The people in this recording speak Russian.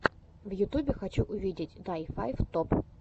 в ютубе хочу увидеть дай файв топ